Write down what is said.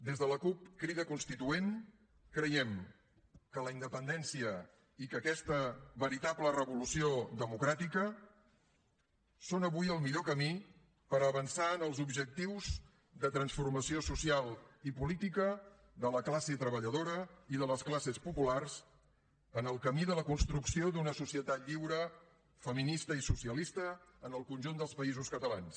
des de la cup crida constituent creiem que la independència i que aquesta veritable revolució democràtica són avui el millor camí per avançar en els objectius de transformació social i política de la classe treballadora i de les classes populars en el camí de la construcció d’una societat lliure feminista i socialista en el conjunt dels països catalans